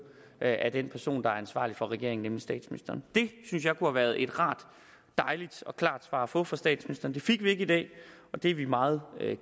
af den person der er ansvarlig for regeringen nemlig statsministeren det synes jeg kunne have været et rart dejligt og klart svar at få fra statsministeren det fik vi ikke i dag og det er vi meget